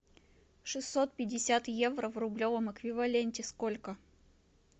шестьсот пятьдесят евро в рублевом эквиваленте сколько